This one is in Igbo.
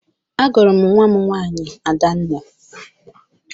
Agụrụ m nwa m nwaanyị Adanna.